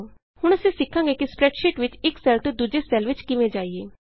ਹੁਣ ਅਸੀਂ ਸਿੱਖਾਂਗੇ ਕਿ ਸਪਰੈੱਡਸ਼ੀਟ ਵਿਚ ਇਕ ਸੈੱਲ ਤੋਂ ਦੂਜੇ ਸੈੱਲ ਵਿਚ ਕਿਵੇਂ ਜਾਈਏ